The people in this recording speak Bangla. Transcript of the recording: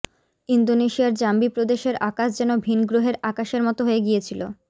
ইন্দোনেশিয়ার জাম্বি প্রদেশের আকাশ যেন ভিনগ্রহের আকাশের মতো হয়ে গিয়েছিল